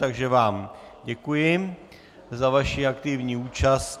Takže vám děkuji za vaši aktivní účast.